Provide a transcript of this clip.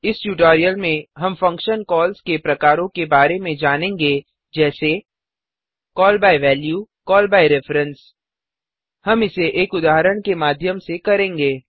इस ट्यूटोरियल में हम फंक्शन्स कॉल्स के प्रकारों के बारे में जानेंगे जैसे call by value call by value call by reference call by reference हम इसे एक उदाहरण के माध्यम से करेंगे